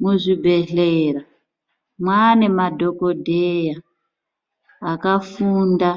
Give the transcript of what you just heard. Muzvibhedhlera mwane madhokodheya akafunda